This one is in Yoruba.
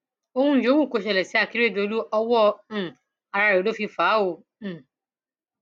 ohun yòówù kó ṣẹlẹ sí akérèdọlù ọwọ um ara rẹ ló fi fà á o um